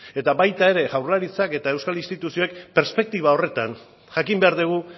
eta baita ere jaurlaritzak eta euskal instituzioek perspektiba horretan jakin behar dugu